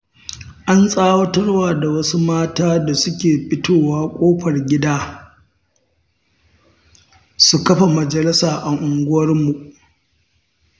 An tsawatarwa da wasu mata da suke fitowa ƙofar gida, su kafa majalisa a unguwarmu.